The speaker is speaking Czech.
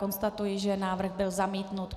Konstatuji, že návrh byl zamítnut.